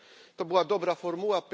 To była dobra formuła.